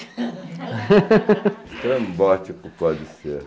Estrambótico pode ser.